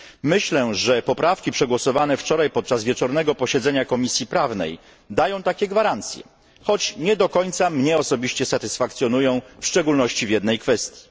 Myślę, że poprawki przegłosowane wczoraj podczas wieczornego posiedzenia Komisji Prawnej dają takie gwarancje, choć osobiście nie do końca mnie one satysfakcjonują, w szczególności w jednej kwestii.